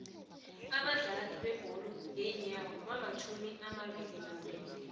abadlali bebholo yenyawoo bamatjhumi amabilinambili